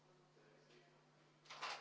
Proteste ei näe.